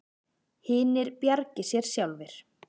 Hinir bjargi sér sjálfir.